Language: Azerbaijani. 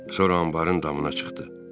Sonra anbarın damına çıxdı.